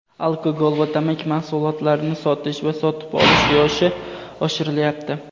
Alkogol va tamaki mahsulotlarini sotish va sotib olish yoshi oshirilyapti.